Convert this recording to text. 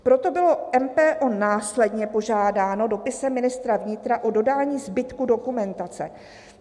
"Proto bylo MPO následně požádáno dopisem ministra vnitra do dodání zbytku dokumentace."